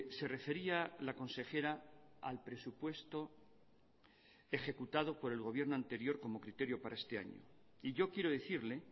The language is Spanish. se refería la consejera al presupuesto ejecutado por el gobierno anterior como criterio para este año y yo quiero decirle